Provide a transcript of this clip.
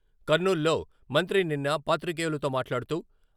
కర్నూలు లో మంత్రి నిన్న పాత్రికేయులతో మాట్లాడుతూ.....